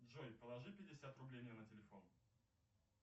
джой положи пятьдесят рублей мне на телефон